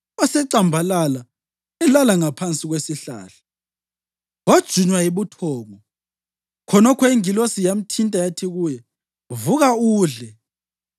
Wasecambalala elala ngaphansi kwesihlahla wajunywa yibuthongo. Khonokho ingilosi yamthinta yathi kuye, “Vuka udle.”